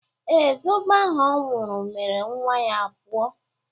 Ee, zobo ahụ ọ nwụrụ mere nwa ya ọ pụọ